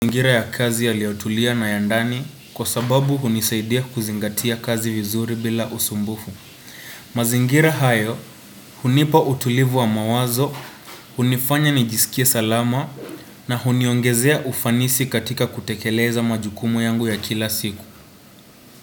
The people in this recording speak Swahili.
Mazingira ya kazi yaliyotulia na ya ndani kwa sababu hunisaidia kuzingatia kazi vizuri bila usumbufu. Mazingira hayo hunipa utulivu wa mawazo, hunifanya nijisikie salama na huniongezea ufanisi katika kutekeleza majukumu yangu ya kila siku.